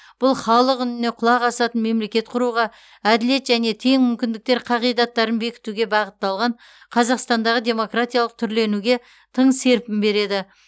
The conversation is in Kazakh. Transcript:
бұл халық үніне құлақ асатын мемлекет құруға әділет және тең мүмкіндіктер қағидаттарын бекітуге бағытталған қазақстандағы демократиялық түрленуге тың серпін береді